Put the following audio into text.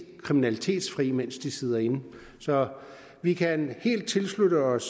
kriminalitetsfri mens de sidder inde så vi kan helt tilslutte os